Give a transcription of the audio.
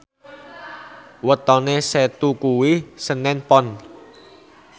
wetone Setu kuwi senen Pon